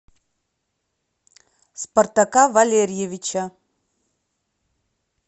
спартака валерьевича